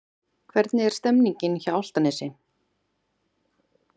Hvernig er stemningin hjá Álftanesi?